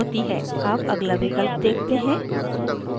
अब अगला विकल्प देखते हैं